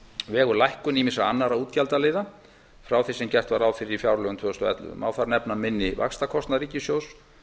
vegur lækkun ýmissa annarra útgjaldaliða frá því sem gert var ráð fyrir í fjárlögum tvö þúsund og ellefu má þar nefna minni vaxtakostnað ríkissjóðs